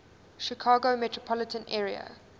chicago metropolitan area